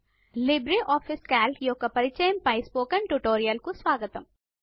Libre office Calc యొక్క పరిచయము పై స్పోకెన్ ట్యుటోరియల్ కు స్వాగతం